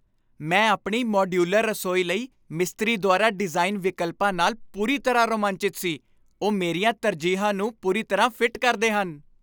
ਮੈਂ ਆਪਣੀ ਮਾਡਯੂਲਰ ਰਸੋਈ ਲਈ ਮਿਸਤਰੀ ਦੁਆਰਾ ਡਿਜ਼ਾਈਨ ਵਿਕਲਪਾਂ ਨਾਲ ਪੂਰੀ ਤਰ੍ਹਾਂ ਰੋਮਾਂਚਿਤ ਸੀ। ਉਹ ਮੇਰੀਆਂ ਤਰਜੀਹਾਂ ਨੂੰ ਪੂਰੀ ਤਰ੍ਹਾਂ ਫਿੱਟ ਕਰਦੇ ਹਨ!